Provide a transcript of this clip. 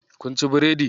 Kun ci biredi?